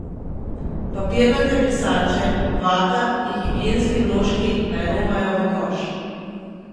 Papirnate brisače, vata in higienski vložki naj romajo v koš.